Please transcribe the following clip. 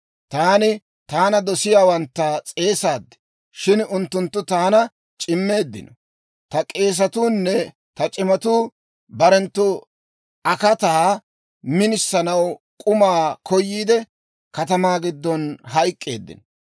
Taani taana dosiyaawantta s'eesaad; shin unttunttu taana c'immeeddino. Ta k'eesatuu nne ta c'imatuu barenttu akataa minisanaw k'umaa koyiidde, katamaa giddon hayk'k'eeddino.